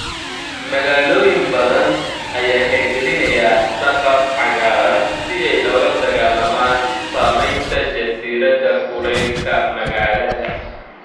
Magaalooyin badan ayaa hirgelinaya saqaf cagaaran si ay ula dagaallamaan saamaynta jasiiradda kulaylka magaalada.